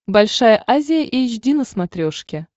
большая азия эйч ди на смотрешке